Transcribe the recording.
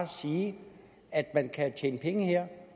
sige at man kan tjene penge her